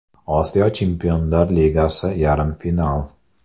Osiyo Chempionlar Ligasi Yarim final.